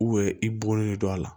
i bolonɔ a la